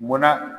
Mɔnna